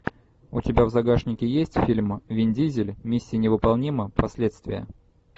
у тебя в загашнике есть фильм вин дизель миссия невыполнима последствия